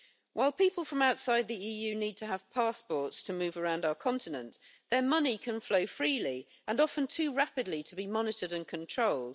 While people from outside the EU need to have passports to move around our continent, their money can flow freely and often too rapidly to be monitored and controlled.